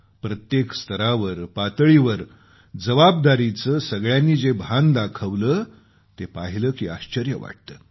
प्रत्येक स्तरावर पातळीवर जबाबदारीचं सगळ्यांनी जे भान दाखवलं ते पाहिलं की आश्चर्य वाटतं